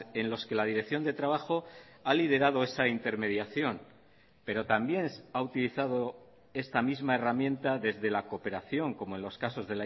en los que la dirección de trabajo ha liderado esa intermediación pero también ha utilizado esta misma herramienta desde la cooperación como en los casos